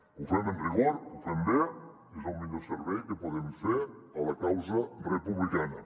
ho fem amb rigor ho fem bé és el millor servei que podem fer a la causa republicana